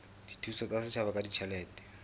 dithuso tsa setjhaba ka ditjhelete